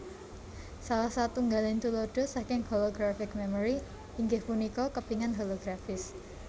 Salah satunggaling tuladha saking holographic memory inggih punika kepingan holografis